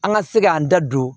An ka se k'an da don